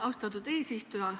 Austatud eesistuja!